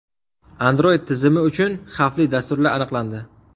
Android tizimi uchun xavfli dasturlar aniqlandi.